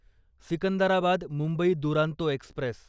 Secunderabad Mumbai Duronto Express